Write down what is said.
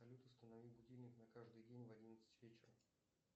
салют установи будильник на каждый день в одиннадцать вечера